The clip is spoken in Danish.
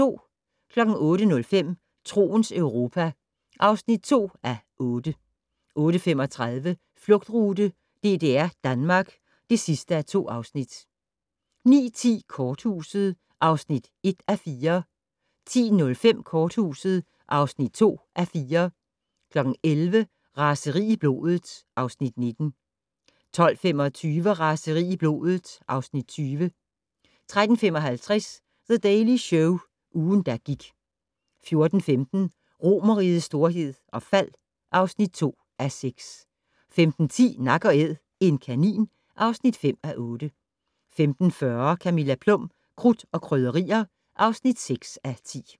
08:05: Troens Europa (2:8) 08:35: Flugtrute: DDR-Danmark (2:2) 09:10: Korthuset (1:4) 10:05: Korthuset (2:4) 11:00: Raseri i blodet (Afs. 19) 12:25: Raseri i blodet (Afs. 20) 13:55: The Daily Show - ugen, der gik 14:15: Romerrigets storhed og fald (2:6) 15:10: Nak & Æd - en kanin (5:8) 15:40: Camilla Plum - Krudt og Krydderier (6:10)